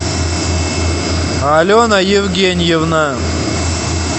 алена евгеньевна